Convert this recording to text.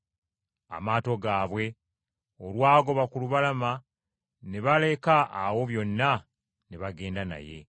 Amaato gaabwe olwagoba ku lubalama ne baleka awo byonna ne bagenda naye.